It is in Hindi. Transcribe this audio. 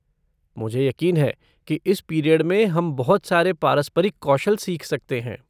मुझे यकीन है कि इस पीरियड में हम बहुत सारे पारस्परिक कौशल सीख सकते हैं।